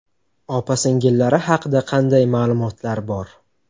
Opa-singillari haqida qanday ma’lumotlar bor?